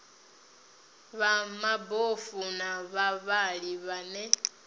vha mabofu na vhavhali vhane